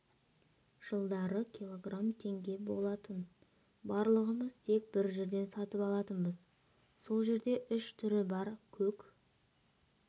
жылдары килограмм теңге болатын барлығымыз тек бір жерден сатып алатынбыз сол жерде үш түрі бар көк